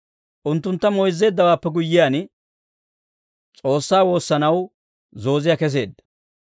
Unttuntta moyzzeeddawaappe guyyiyaan, S'oossaa woossanaw zooziyaa keseedda.